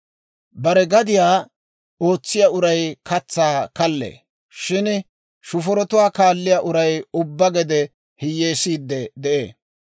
Bare gadiyaa ootsiyaa uray katsaa kallee. Shin shufurotuwaa kaalliyaa uray ubbaa gede hiyyeesiide de'ee.